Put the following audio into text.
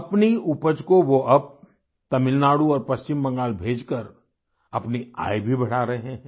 अपनी उपज को वो अब तमिलनाडु और पश्चिम बंगाल भेजकर अपनी आय भी बढ़ा रहे हैं